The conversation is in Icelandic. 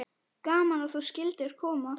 Gaman að þú skyldir koma.